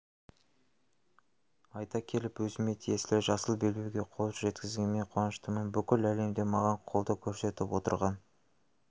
айта келіп өзіме тиесілі жасыл белбеуге қол жеткізгеніме қуаныштымын бүкіл әлемде маған қолдау көрсетіп отырған